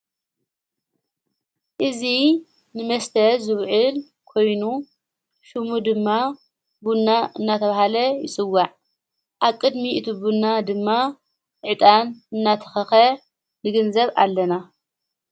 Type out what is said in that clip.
እዙ ንመስተ ዙብዕል ኮይኑ ሹሙ ድማ ቡና እናተብሃለ ይጽዋዕ ኣብ ቅድሚ እቲ ብና ድማ ዕጣን እናተኸኸ ንግንዘብ ኣለና፡፡